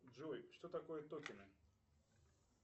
джой что такое токины